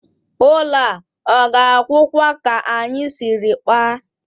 Ụlọ a ọ ga-agwụkwa ka anyị siri kpaa?